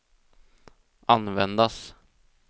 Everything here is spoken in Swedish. användas